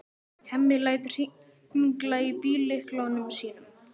Hemmi lætur hringla í bíllyklunum sínum.